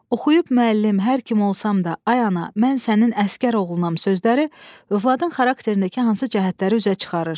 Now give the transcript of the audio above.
Oxuyub müəllim, hər kim olsam da, ay ana, mən sənin əsgər oğlunam sözləri övladın xarakterindəki hansı cəhətləri üzə çıxarır?